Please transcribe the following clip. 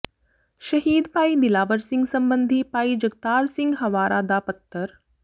ਸ਼ਹੀਦ ਭਾਈ ਦਿਲਾਵਰ ਸਿੰਘ ਸੰਬੰਧੀ ਭਾਈ ਜਗਤਾਰ ਸਿੰਘ ਹਵਾਰਾ ਦਾ ਪੱਤਰ